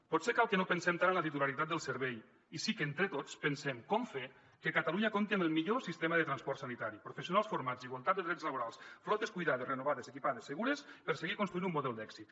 potser cal que no pensem tant en la titularitat del servei i sí que entre tots pensem com fer que catalunya compti amb el millor sistema de transport sanitari professionals formats i igualtat de drets laborals flotes cuidades renovades equipades segures per seguir construint un model d’èxit